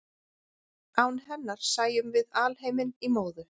án hennar sæjum við alheiminn í móðu